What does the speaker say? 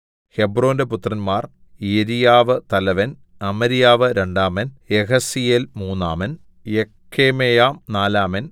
ഹെബ്രോന്റെ പുത്രന്മാർ യെരിയാവു തലവൻ അമര്യാവു രണ്ടാമൻ യഹസീയേൽ മൂന്നാമൻ യെക്കമെയാം നാലാമൻ